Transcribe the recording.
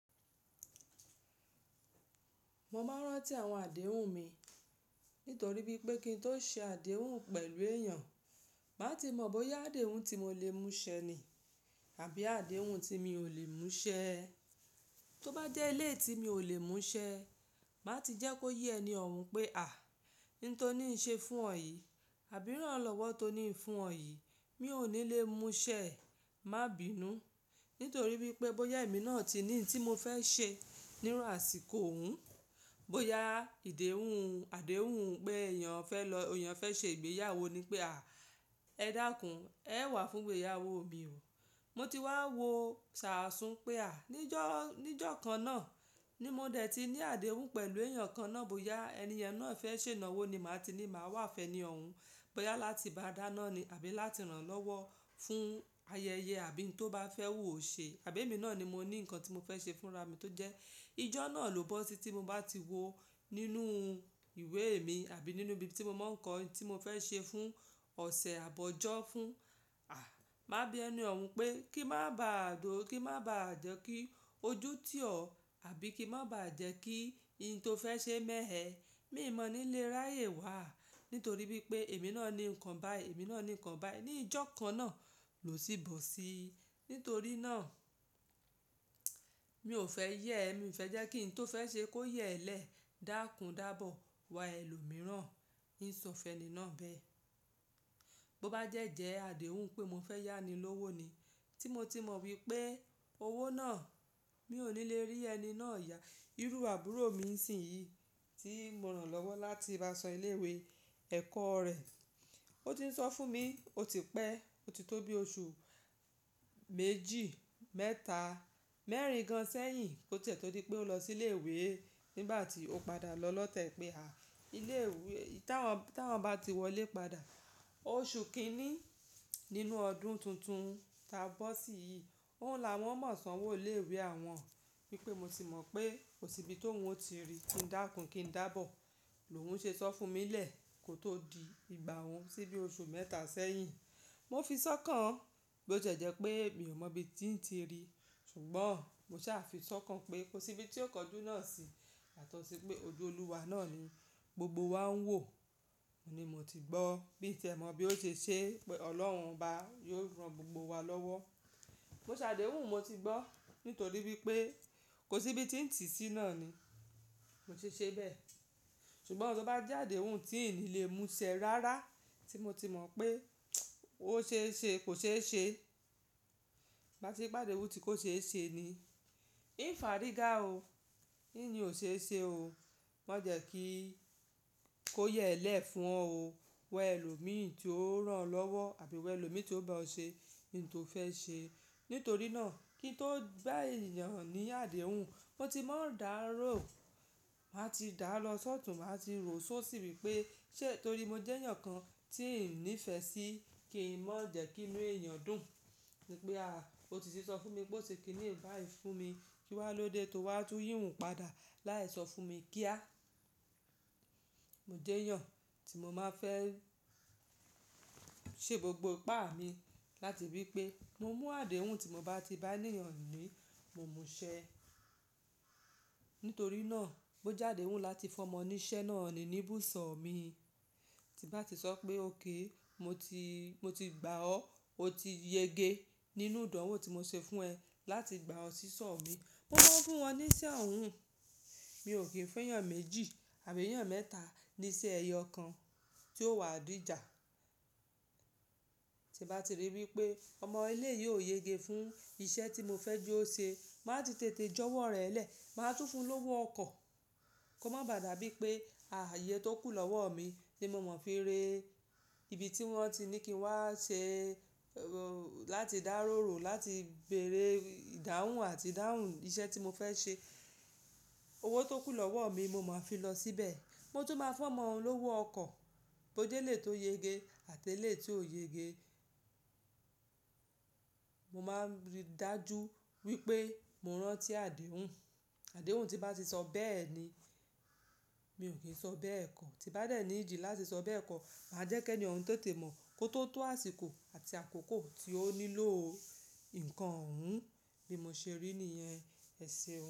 Mo máa ń rántí àwọn àdéhùn mi, nítorí wípé kí n tó ṣe àdéhùn pẹ̀lú èèyàn, màá ti mọ bóyá àdéhùn tí mo lè mú ṣẹ ní, àbí àdéhùn tí mi ò lè mú ṣẹ. Tó bá jẹ́ eléyi ti mi ò lè mú ṣẹ, màá ti jẹ́ kó yé ẹni òhun pé a, ohun tó ní ń ṣe fún ọ̀ yí àbí iránlọ́wọ́ tó ní ń fún ọ̀ yí, mi ò ní lè mú ṣẹ. Má bínú. Nítorí wípé bóyá èmi náà ti ní ń tí mo fẹ́ ṣe níru àsìkò òun, bóyá ìdéhùn-àdéhùn pé èèyàn fẹ́ lọ, èèyàn fẹ́ ṣe ìgbéyàwó ni pé a, ẹ dákun, ẹ wá fún'gbéyàwó mi o. Mo ti wá wo ṣàásùn pé a, ní ìjọ̀-ní ìjọ̀kan náà ni mo dẹ̀ ti ní àdéhùn pẹ̀lú èèyàn kan náà, bóyá ẹni yẹn náà fẹ́ ṣe ìnáwó ni màá ti ní màá wá fẹni òhun. Bóyá láti bá a dáná ni àbí láti rán lọ́wọ́ fún ayẹyẹ àbí n tó bá fẹ́ wú ò ṣe. Àbí èmi náà ni mo ní nǹkan tí mo fẹ́ ṣe fúnra mi tó jẹ́ ijọ́ náà ló bọ́ sí tí mo bá ti wò nínú ìwé mi àbí nínú ibi tí mo máa ń kọ́ ẹni tí mo fẹ́ ṣe fún ọ̀sẹ̀ àbọ̀ ọjọ́ fún, a, má bí ẹni òhun pé kí má bá à dó, kí má bá à jẹ́ kí ojú tí ọ àbí kí má bá à jẹ́ kí ẹni tí ó fẹ́ ṣe mẹ̀ ẹ. Mi ò mọ̀ ní lè ráyè wà. Nítorí wípé èmi náà ní nǹkan bá èmi náà ní nǹkan bá ẹni. Ni ìjọ̀kan náà lò sí bò si. Nítorí náà mi ò fẹ́ yẹ ẹ́, mi ò fẹ́ jẹ́ kí ẹni tí ó fẹ́ ṣe kó yẹ ẹ́ lẹ̀ dákun dábọ̀, wọ ẹlòmíràn, ń sun fèní náà bẹ. Bo bá jẹ́ jẹ àdéhùn pé mo fẹ́ yá ni lówó ni, tí mo ti mọ wípé owó náà mi ò ní lè rí ẹni náà yá. Irú àbúrò mi ń sìn yìí tí mo rán lọ́wọ́ láti bá san ilé ìwé ẹ̀kọ́ rẹ̀. Ó ti ń sọ fún mi, ó ti pẹ́, ó ti tó bi oṣù méjì, mẹ́ta, mẹ́rin gan sẹ́yìn kó tiẹ̀ tó di pé ó lọ sí ilé ìwé nígbà tí ó padà lọ lọ́tẹ̀ pé a ilé ìwé tí wọ́n bá ti wọlé padà. Oṣù kìíní nínú ọdún tuntun ta bọ́ sí yìí, òun là wọ́n máa san owó ilé ìwé àwọn. Wípé mo ti mọ̀ pé kò sí ibi tó mú ó ti rí kí n dá kun kí n dá bọ̀. Lóhùn ṣe sọ fún mi lẹ̀ kó tó di ìgbà òun síbí oṣù mẹ́ta sẹ́yìn. Mo fi sọ́kàn bó jẹ́ jẹ pé mi ò mọ ibi tí ń ti rí. Ṣùgbọ́n mo ṣà fi sọ́kàn pé kò sí ibi tí ó kọjú náà sí. Àtọ̀sí pé ojú Olúwa náà ni gbogbo wa ń wò. Mo ní mo ti gbọ́ bí i tẹ mọ̀ bí ó ṣe ṣe pé Ọlọ́run bá yóò rán gbogbo wa lọ́wọ́. Mo ṣàdéhùn mo ti gbọ́. Nítorí wípé kò sí ibi tí ń ti sí náà ni. Mo tun ṣe bẹ́ẹ̀. Ṣùgbọ́n tó bá jẹ́ àdéhùn tí ì ní lè mú ṣẹ rárá tí mo ti mọ̀ pé ó ṣe é ṣe kò ṣe é ṣe. Bá ti pàdé ohun tí kò ṣe é ṣe ni. Ìnkan fie o. Kí ni ò ṣe é ṣe o? Ma jẹ́ kí kó yẹ ẹ́ lẹ̀ fún ọ o. Wọ ẹlòmíràn tí ó rán ọ́ lọ́wọ́ àbí wọ ẹlòmíràn tí ó bá ọ ṣe ohun tí o fẹ́ ṣe. Nítorí náà kí n tó bá èèyàn ní àdéhùn, mo ti máa ń dá àárò, màá ti dá lọ sọ́ tún màá ti rò ó sì wípé ṣe torí mo jẹ́ èèyàn kan tí ń nífẹ̀ẹ́ sí kìí mọ̀ jẹ́ kí inú èèyàn dùn wi pé a, ósi ti sì sọ fún mi pé ó se kíni báì fún mi kí wá lóde tó wá tú yìí ohun padà. Láì sọ fún mi kíá. Mo jẹ́ èèyàn tí mo máa fẹ́ ṣe gbogbo ipá mi láti wípé mo mú àdéhùn tí mo bá ti bá èèyàn ní, mo mú ṣẹ. Nítorí náà bó jádehun láti fún ọmọ níṣẹ́ náà ni ní bùsọ̀ mi. Tí bá ti sọ pé òkay, mo ti, mo ti gbá ọ́, ó ti yege nínú ìdánwò tí mo ṣe fún ẹ láti gbá ọ sísọ mi. Mo máa ń fún wọn ní iṣẹ́ òhun. Mi ò kì í fun ẹ́yàn méjì àbí eyàn mẹ́ta ní iṣẹ́ ẹyọ kan tí ó wà dìjà. Tí bá ti rí wípé ọmọ ilé yìí ò yege fún iṣẹ́ tí mo fẹ́ je ó ṣe, màá ti tètè jọ́wọ́ rẹ̀ lẹ̀. Màá tún fún un lówó ọkọ̀. Kò má bá dàbí pé iyè tó kù lọ́wọ́ mi ni mo mọ̀ fi ré ibi tí wọ́n ti ní kí n wá ṣe láti dárú rú, láti bèrè ìdáhùn àti ìdáhùn iṣẹ́ tí mo fẹ́ ṣe. Owó tó kù lọ́wọ́ mi mo máa fi lọ síbẹ̀. Mo tún máa fún ọmọ lówó ọkọ̀ bó jẹ́ éleyi tó yege àti éleyi tí ò yege. Mo máa ń rí dájú wípé mo rántí àdéhùn. Àdéhùn tí bá ti sọ bẹ́ẹ̀ ni. Mi ò kì í sọ bẹ́ẹ̀ kọ́. Tí bá dẹ̀ need láti sọ bẹ́ẹ̀ kọ́, màá jẹ́ kí ẹni òhun tètè mọ̀ kó tó tó àsìkò àti àkókò tí ó nílò òhun bí mo ṣe rí ni i ẹsẹ̀ wọn.